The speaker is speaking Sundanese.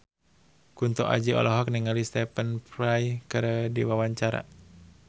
Kunto Aji olohok ningali Stephen Fry keur diwawancara